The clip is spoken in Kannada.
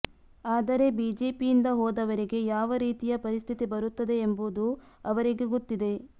ಆದರೆ ಬಿಜೆಪಿಯಿಂದ ಹೋದವರಿಗೆ ಯಾವ ರೀತಿಯ ಪರಿಸ್ಥಿತಿ ಬರುತ್ತದೆ ಎಂಬುದು ಅವರಿಗೆ ಗೊತ್ತಿದೆ